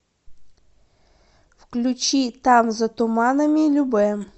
включи там за туманами любэ